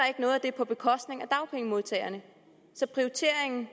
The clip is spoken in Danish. noget at det er på bekostning af dagpengemodtagerne så prioriteringen